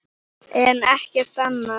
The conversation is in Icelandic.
en ekkert annað.